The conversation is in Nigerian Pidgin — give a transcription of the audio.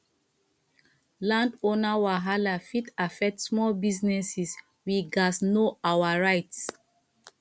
landowner wahala fit affect small businesses we gats know our rights